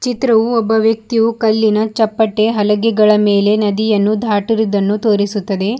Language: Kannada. ಚಿತ್ರವು ಒಬ್ಬ ವ್ಯಕ್ತಿಯು ಕಲ್ಲಿನ ಚಪ್ಪಟೆ ಹಲಗೆಗಳ ಮೇಲೆ ನದಿಯನ್ನು ದಾಟರಿದನ್ನು ತೋರಿಸುತ್ತದೆ.